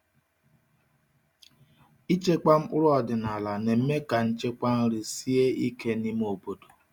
Ịchekwa mkpụrụ ọdịnala na-eme ka nchekwa nri sie ike n’ime obodo.